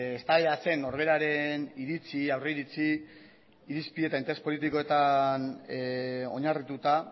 eztabaidatzen norberaren iritzi aurriritzi irizpide eta interes politikoetan oinarrituta